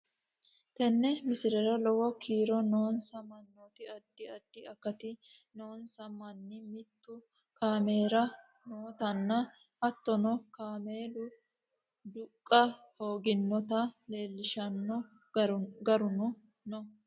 Teene miislera loowo kiiro noonsa maanoti addi adxi akatii noonsa maani miitu camelira nootana haatono kaamelu duuqa hooginotta leelshanno gaarunno noo.